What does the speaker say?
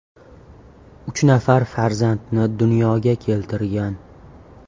Uch nafar farzandni dunyoga keltirgan.